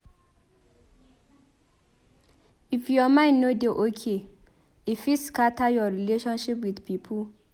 If your mind no dey okay e fit scatter your relationship wit pipo.